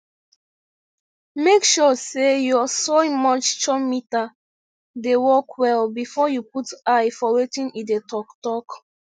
make sure say your soil moisture meter dey work well before you put eye for wetin e dey talk talk